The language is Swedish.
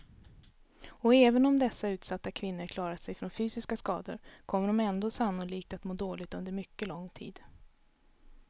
Och även om dessa utsatta kvinnor klarat sig från fysiska skador kommer de ändå sannolikt att må dåligt under mycket lång tid.